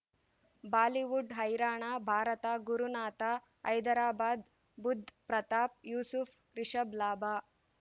Bollywood ಹೈರಾಣ ಭಾರತ ಗುರುನಾಥ ಹೈದರಾಬಾದ್ ಬುಧ್ ಪ್ರತಾಪ್ ಯೂಸುಫ್ ರಿಷಬ್ ಲಾಭ